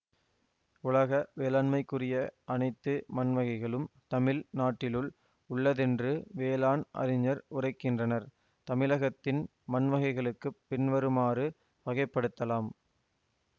உலக வேளாண்மைக்குரிய அனைத்து மண்வகைகளும் தமிழ் நாட்டிலுள் உள்ளதென்று வேளாண் அறிஞர் உரைக்கின்றனர் தமிழகத்தின் மண்வகைகளைப் பின்வருமாறு வகைப்படுத்தலாம்